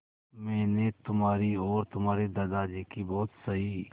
मैंने तुम्हारी और तुम्हारे दादाजी की बहुत सही